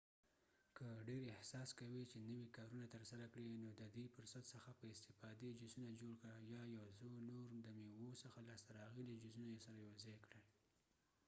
که ډیر احساس کوې چې نوي کارونه ترسره کړې نو ددې فرصت څخه په استفادې جوسونه جوړ کړه یا یو څو نور د میوو څخه لاسته راغلي جوسونه سره یوځای کړئ